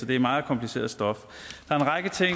det er meget kompliceret stof